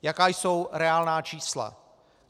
Jaká jsou reálná čísla.